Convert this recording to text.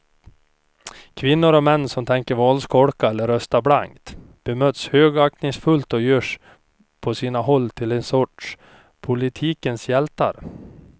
Kvinnor och män som tänker valskolka eller rösta blankt bemöts högaktningsfullt och görs på sina håll till en sorts politikens hjältar.